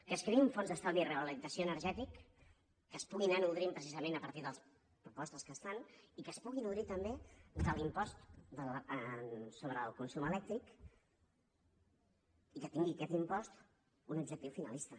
que es creï un fons d’estalvi i rehabilitació energètica que es pugui anar nodrint precisament a partir de les propostes que es fan i que es pugui nodrir també de l’impost sobre el consum elèctric i que tingui aquest impost un objectiu finalista